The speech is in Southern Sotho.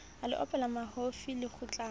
a le opela mahofi lekgutlana